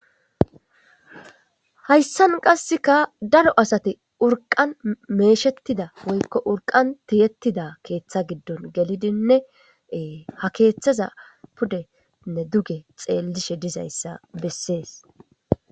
Hayssan qasseka daro asati urqan meeshettida woykko urqan tiyettida keeththa giddon gelidinneee ha keeththaza pudenne duge xeellishe dizayssa bessees